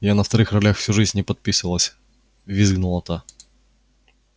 я на вторых ролях всю жизнь не подписывалась визгнула та